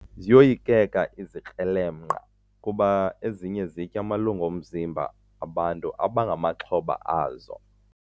Ziyoyikeka izikrelemnqa kuba ezinye zitya amalungu omzimba bantu abangamaxhoba azo.